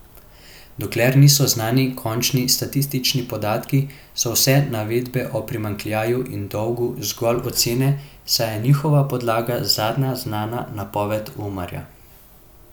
Dokler niso znani končni statistični podatki, so vse navedbe o primanjkljaju in dolgu zgolj ocene, saj je njihova podlaga zadnja znana napoved Umarja.